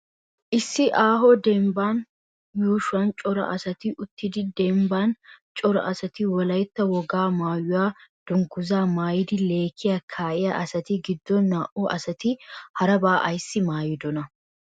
Issi aaho dembbaa yuushuwan cora asati uttidi dembban cora asati Wolaytta wogaa maayuwa dunguzaa maayidi leekkiya kaa'iya asati giddon naa"u asati harabaa ayissi maayidonaa?